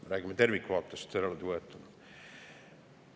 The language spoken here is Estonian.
Me räägime tervikvaatest eraldi võetuna.